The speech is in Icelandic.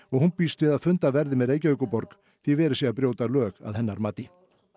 hún býst við að fundað verði með Reykjavíkurborg því verið sé að brjóta lög að hennar mati